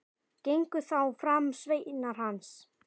Gengu þá fram sveinar hans.